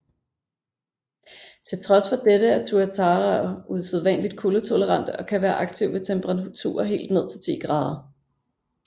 Til trods for dette er tuataraer usædvanligt kuldetolerante og kan være aktive ved temperaturer helt ned til 10 oC